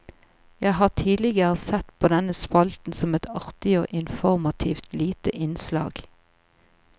Jeg har tidligere sett på denne spalten som et artig og informativt lite innslag.